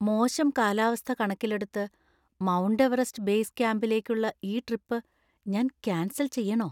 മോശം കാലാവസ്ഥ കണക്കിലെടുത്ത്, മൗണ്ട് എവറസ്റ്റ് ബേസ് ക്യാമ്പിലേക്കുള്ള ഈ ട്രിപ്പ് ഞാൻ കാൻസൽ ചെയ്യണോ ?